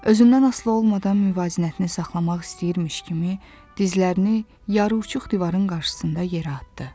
Özündən asılı olmadan müvazinətini saxlamaq istəyirmiş kimi dizlərini yaruçuq divarın qarşısında yerə atdı.